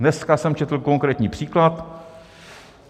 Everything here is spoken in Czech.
Dneska jsem četl konkrétní příklad.